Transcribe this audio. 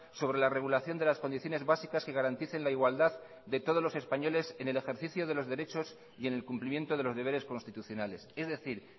sobre la regulación de las condiciones básicas que garanticen la igualdad de todos los españoles en el ejercicio de los derechos y en el cumplimiento de los deberes constitucionales es decir